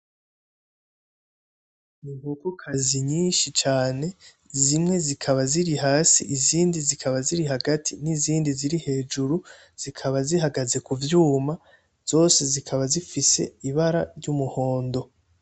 Inkokokazi zinshi cane zimwe zikaba ziri hasi izindi zikaba ziri hagati n'izindi ziri hejuru zikaba zihagaze ku vyuma, zose zikaba zifise ibara ry'umuhondo.